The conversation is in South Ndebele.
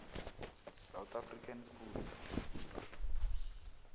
south african schools